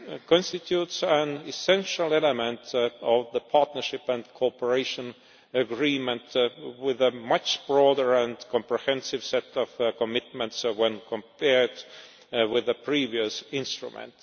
constitutes an essential element of the Partnership and Cooperation Agreement, with a much broader and more comprehensive set of commitments when compared with the previous instrument.